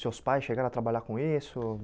Seus pais chegaram a trabalhar com isso?